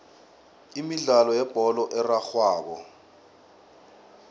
imidlalo yebholo erarhwako